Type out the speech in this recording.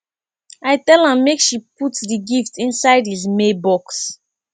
i tell am make she put the gift inside his mail box